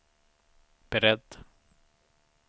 beredd